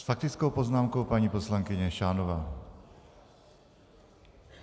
S faktickou poznámkou paní poslankyně Šánová.